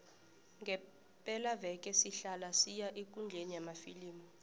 ngepelaveke sihlala siya ekundleni yamafilimu